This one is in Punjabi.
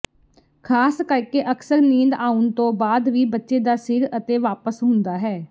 ਖ਼ਾਸ ਕਰਕੇ ਅਕਸਰ ਨੀਂਦ ਆਉਣ ਤੋਂ ਬਾਅਦ ਵੀ ਬੱਚੇ ਦਾ ਸਿਰ ਅਤੇ ਵਾਪਸ ਹੁੰਦਾ ਹੈ